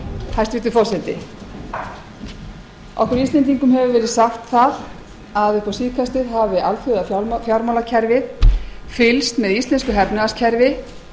hæstvirtur forseti okkur íslendingum hefur verið sagt að upp á síðkastið hafi alþjóðafjármálakerfið fylgst með íslensku efnahagskerfi